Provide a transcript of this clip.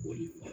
O ye